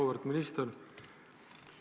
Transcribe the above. Auväärt minister!